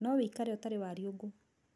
No wĩikare ũtarĩ wariũngũ.